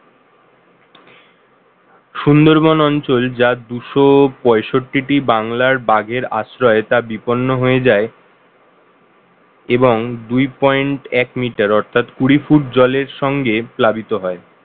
সুন্দরবন অঞ্চল যা দুশো পঁয়ষট্টি টি বাংলার বাঘের আশ্রয় তা বিপন্ন হয়ে যায় এবং দুই দশমিক এক miter অর্থাৎ কুড়ি ফুট জলের সঙ্গে প্লাবিত হয়